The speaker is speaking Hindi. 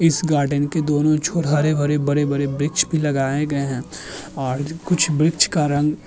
इस गार्डन के दोनों ओर हरे-हरे बड़े-बड़े वृक्ष भी लगाए गए हैं और कुछ वृक्ष का रंग --